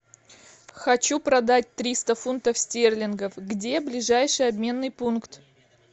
хочу продать триста фунтов стерлингов где ближайший обменный пункт